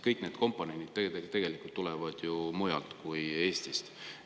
Kõik need komponendid tulevad ju mujalt kui Eestist.